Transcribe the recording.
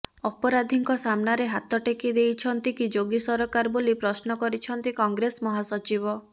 ଅପରାଧୀଙ୍କ ସାମ୍ନାରେ ହାତ ଟେକି ଦେଇଛନ୍ତି କି ଯୋଗୀ ସରକାର ବୋଲି ପ୍ରଶ୍ନ କରିଛନ୍ତି କଂଗ୍ରେସ ମହାସଚିବ